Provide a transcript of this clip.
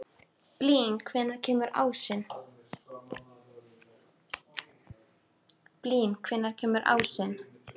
Blín, hvenær kemur ásinn?